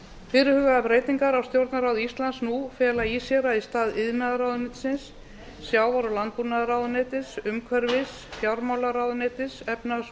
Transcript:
fyrirhugaðar breytingar á stjórnarráði íslands nú fela í sér að í stað iðnaðarráðuneytis sjávarútvegs og landbúnaðarráðuneytis umhverfisráðuneytis fjármálaráðuneytis og efnahags og